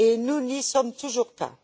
Nous n'y sommes toujours pas.